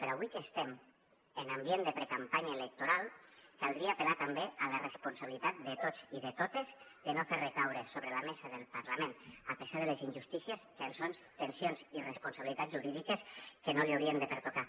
però avui que estem en ambient de precampanya electoral caldria apel·lar també a la responsabilitat de tots i de totes de no fer recaure sobre la mesa del parlament a pesar de les injustícies tensions i responsabilitats jurídiques que no li haurien de pertocar